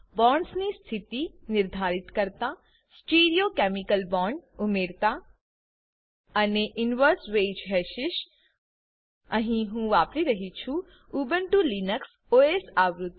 bonds ની સ્થિતિ નિર્ધારિત કરતા stereochemical bonds stereo chemical bond ઉમેરતા અને inverse wedge hashes inverse wedge hashes અહી હું વાપરી રહ્યી છું ઉબુન્ટુ લિનક્સ ઓએસ આવૃત્તિ